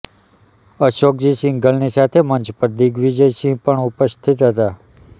અશોકજી સિંઘલની સાથે મંચ પર દિગ્વિજયસિંહ પણ ઉપસ્થિત હતા